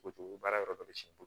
O cogo baara yɔrɔ dɔ bɛ si